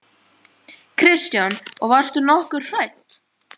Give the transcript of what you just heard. Kristján: Og varstu nokkuð hrædd?